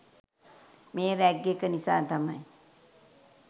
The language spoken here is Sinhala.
මේ රැග් එක නිසා තමයි